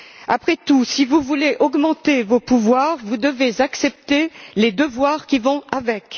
Après tout, si vous voulez augmenter vos pouvoirs, vous devez accepter les devoirs qui vont avec.